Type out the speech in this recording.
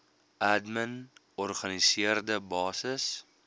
admin organiseerde basis